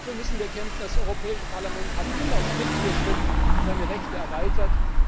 Dafür müssen wir kämpfen! Das Europäische Parlament hat immer Schritt für Schritt seine Rechte erweitert.